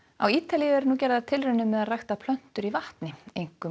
á Ítalíu eru gerðar tilraunir með að rækta plöntur í vatni einkum